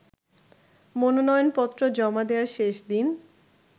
মনোনয়নপত্র জমা দেয়ার শেষদিন